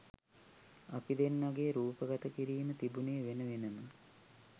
අපි දෙන්නගේ රූපගත කිරීම් තිබුණෙ වෙන වෙනම.